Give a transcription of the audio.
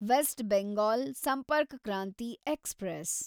West Bengal Sampark Kranti express